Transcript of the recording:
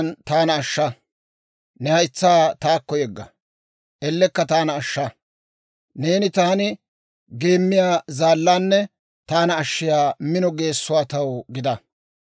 Ne haytsaa taakko yegga; ellekka taana ashsha. Neeni taani geemmiyaa zaallaanne taana ashshiyaa mino geessuwaa taw gida.